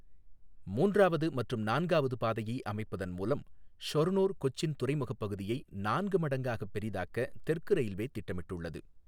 மூன்றாவது மற்றும் நான்காவது பாதையை அமைப்பதன் மூலம் ஷொர்ணூர் கொச்சின் துறைமுகப் பகுதியை நான்கு மடங்காகப் பெரிதாக்க தெற்கு ரயில்வே திட்டமிட்டுள்ளது.